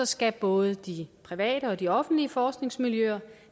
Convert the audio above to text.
skal både de private og de offentlige forskningsmiljøer